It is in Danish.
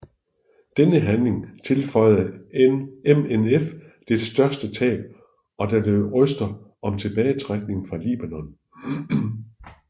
Denne handling tilføjede MNF dets største tab og der lød røster om tilbagetrækning fra Libanon